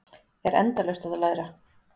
Er endalaust að læra